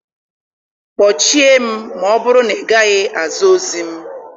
Kpọchie m ma ọ bụrụ na ị gaghị aza ozi m.